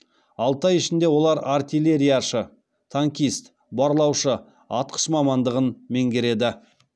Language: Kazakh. алты ай ішінде олар артиллерияшы танкист барлаушы атқыш мамандығын меңгереді